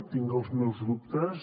tinc els meus dubtes